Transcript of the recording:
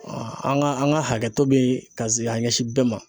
an ka an ka hakɛ to bɛ ka se ka ɲɛsin bɛɛ ma.